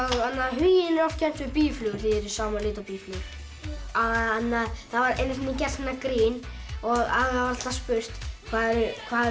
huginn er oft kennt við býflugur því það er í sama lit og býflugur það var einu sinni gert svona grín og alltaf spurt hvað